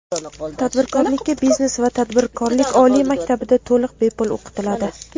tadbirkorlikka Biznes va tadbirkorlik oliy maktabida to‘liq bepul o‘qitiladi.